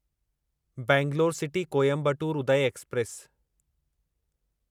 Bangalore city Coimbatore Uday express